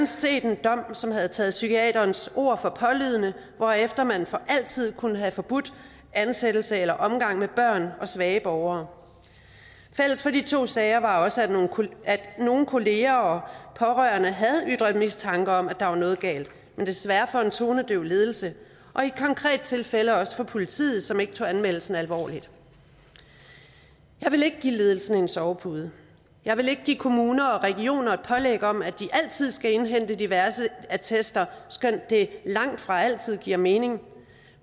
set en dom som havde taget psykiaterens ord for pålydende hvorefter man for altid kunne have forbudt ansættelse eller omgang med børn og svage borgere fælles for de to sager var også at nogle kolleger nogle kolleger og pårørende havde ytret mistanke om at der var noget galt men desværre over for en tonedøv ledelse og i et konkret tilfælde også for politiet som ikke tog anmeldelsen alvorligt jeg vil ikke give ledelsen en sovepude jeg vil ikke give kommuner og regioner et pålæg om at de altid skal indhente diverse attester skønt det langtfra altid giver mening